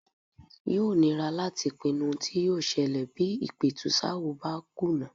Yóò nira láti pinnu ohun tí yóò ṣẹlẹ̀ bí ìpẹ̀tùsááwọ̀ bá kùnà.